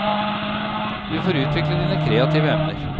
Du får utvikle dine kreative evner.